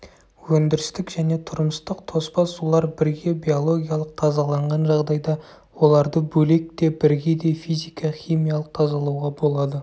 өндірістік және тұрмыстық тоспа сулар бірге биологиялық тазаланған жағдайда оларды бөлек те бірге де физика-химиялық тазалауға болады